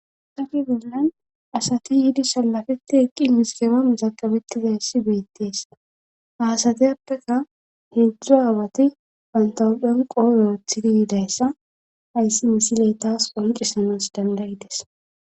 sage binlan asati yiidi salafeti eqqi misigeba mizaqabettizayssi beyettees haasateyappeka heedzdzu aawati pantawudphen qooyeethidi yiidayssa ayssi misiley taas qoncisanas dandayites